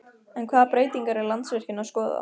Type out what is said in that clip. En hvaða breytingar er Landsvirkjun að skoða?